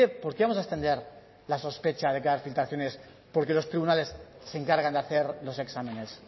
por qué vamos a extender la sospecha de que va a haber filtraciones porque los tribunales se encargan de hacer los exámenes